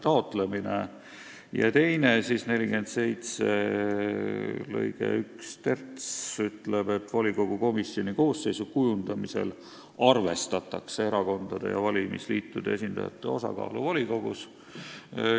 Teiseks, § 47 lõige 13: "Volikogu komisjoni koosseisu kujundamisel arvestatakse erakondade ja valimisliitude esindajate osakaalu volikogus.